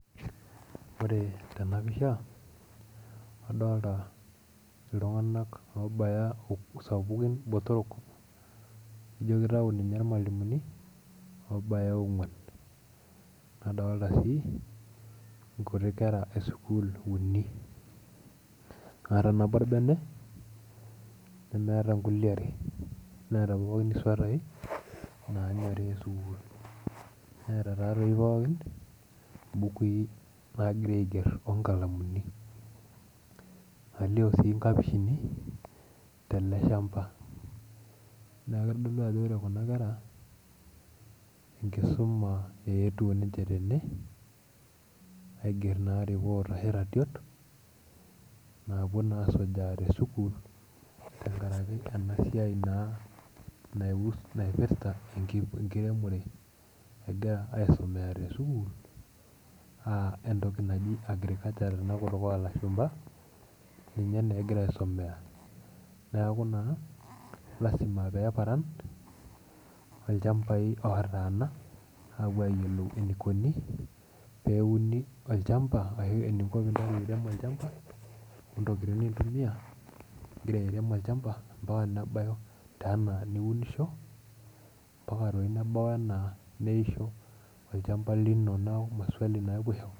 Ore tena pisha, adolta obaya sapukini botorok nijio kitayu ninye irmalimuni obaya ong'uan nadolta sii nkuti kera esukuul uni naata nabo orbene nemeeta nkulie are. neeta pookin isuatai nanyori esukuul neeta taatoi pookin imbukui nagira aigerr onkalamuni alio sii inkapishini tele shamba neku kitodolu ajo ore kuna kera enkisuma eetuo ninche tene aigerr naa report ashu iratiot naapuo naa asujaa tesukuul tenkarake ena siai naa naipirrta enkiremore egira aisomea tesukuul uh entoki naji agriculture tena kutuk olashumpa ninye naa egira aisomea niaku naa lazima peeparan olchambai otaana aapuo ayiolou enikoni peuni olchamba ashu eniko pinteru airem olchamba ontokiting' nin tumia ingira airem olchamba ampaka nebai taa enaa niunisho ampaka toi nebau enaa neisho olchamba naku maswali naa epuo aiho.